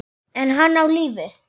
Er hann á lífi?